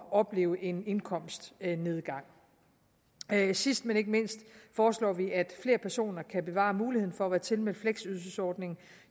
opleve en indkomstnedgang sidst men ikke mindst foreslår vi at flere personer kan bevare muligheden for at være tilmeldt fleksydelsesordningen